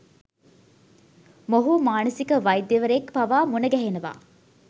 මොහු මානසික වෛද්‍යවරයෙක් පවා මුණ ගැහෙනවා.